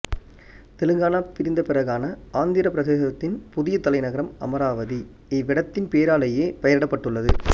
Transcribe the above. தெலுங்கானா பிரிந்தபிறகான ஆந்திரப் பிரதேசத்தின் புதிய தலைநகரம் அமராவதி இவ்விடத்தின் பேராலேயே பெயரிடப்பட்டுள்ளது